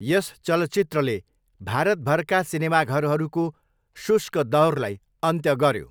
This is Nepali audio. यस चलचित्रले भारतभरका सिनेमाघरहरूको 'शुष्क दौर' लाई अन्त्य गऱ्यो।